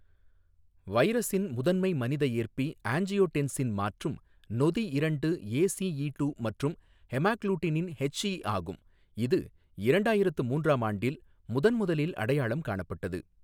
வைரஸின் முதன்மை மனித ஏற்பி ஆஞ்சியோடென்சின் மாற்றும் நொதி இரண்டு ஏசிஈ டூ மற்றும் ஹெமாக்ளூடினின் ஹெச்இ ஆகும், இது இரண்டாயிரத்து மூன்றாம் ஆண்டில் முதன்முதலில் அடையாளம் காணப்பட்டது.